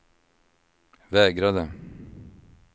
vägrade